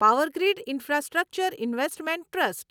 Power Grid infrastructure investment trust